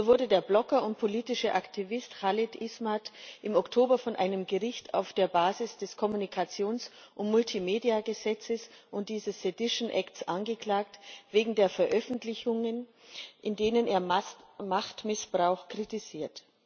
So wurde der Blogger und politische Aktivist Khalid Ismath im Oktober von einem Gericht auf der Basis des Kommunikations und Multimediagesetzes und dieses Sedition Acts wegen Veröffentlichungen angeklagt, in denen er Machtmissbrauch kritisiert.